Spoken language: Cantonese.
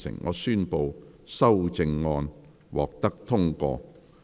我宣布修正案獲得通過。